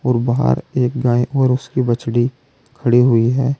वो बाहर एक गाय और उसकी बछड़ी खड़ी हुई है।